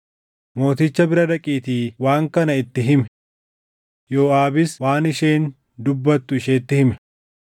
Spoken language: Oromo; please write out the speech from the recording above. Mooticha bira dhaqiitii waan kana itti himi.” Yooʼaabis waan isheen dubbattu isheetti hime.